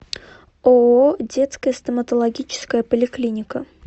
ооо детская стоматологическая поликлиника